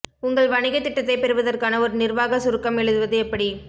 உங்கள் வணிகத் திட்டத்தைப் பெறுவதற்கான ஒரு நிர்வாக சுருக்கம் எழுதுவது எப்படி